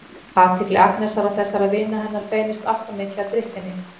Athygli Agnesar og þessara vina hennar beinist alltof mikið að drykkjunni.